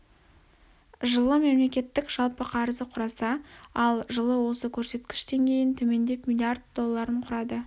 жылы мемлекеттің жалпы қарызы құраса ал жылы осы көрсеткіш дейін төмендеп миллиард долларын құрады